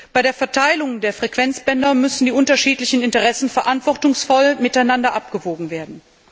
Bei der Verteilung der Frequenzbänder müssen die unterschiedlichen Interessen verantwortungsvoll gegeneinander abgewogen werden.